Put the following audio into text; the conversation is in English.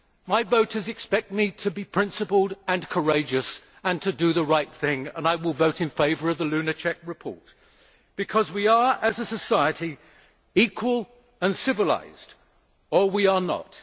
My voters expect me to be principled and courageous and to do the right thing and I will vote in favour of the Lunacek report because either we are, as a society, equal and civilised or we are not.